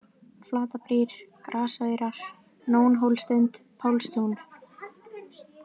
Flatarbrýr, Grasaurar, Nónhólssund, Pálstún